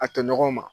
A tɔɲɔgɔnw ma